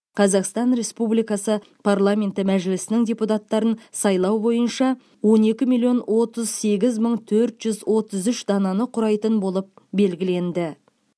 қазақстан республикасы парламенті мәжілісінің депутаттарын сайлау бойынша он екі миллион отыз сегіз мың төрт жүз отыз үш дананы құрайтын болып белгіленді